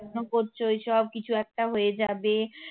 করছো ওই সব কিছু একটা হয়ে যাবে